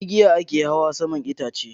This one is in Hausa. Da igiya a ke hawa saman itaciya.